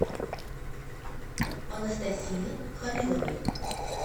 анастасии халиловой